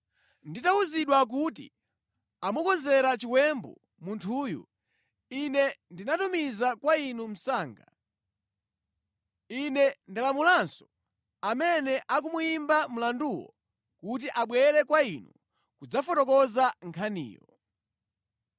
Nditawuzidwa kuti amukonzera chiwembu munthuyu, ine ndamutumiza kwa inu msanga. Ine ndalamulanso amene akumuyimba mlanduwo kuti abwere kwa inu kudzafotokoza nkhaniyo.